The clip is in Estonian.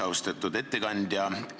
Austatud ettekandja!